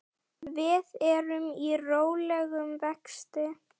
Við erum í rólegum vexti.